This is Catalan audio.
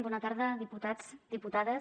bona tarda diputats diputades